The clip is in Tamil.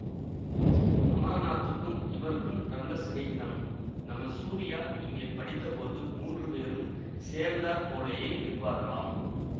அமரநாத்துக்கும் இவருக்கும் ரொம்ப சிநேகிதம் நம்ம சூரியா இங்கே படித்தபோது மூன்று பேரும் சேர்ந்தாற் போலேயே இருப்பார்களாம்